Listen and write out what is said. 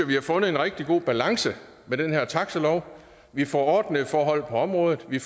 vi har fundet en rigtig god balance med den her taxilov vi får ordnede forhold på området vi